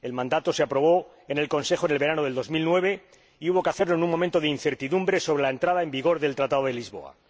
El mandato se aprobó en el Consejo en el verano de 2009, y hubo que hacerlo en un momento de incertidumbre sobre la entrada en vigor del Tratado de Lisboa.